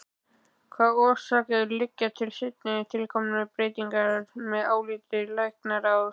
Hvaða orsakir liggja til seinna tilkominna breytinga að áliti læknaráðs?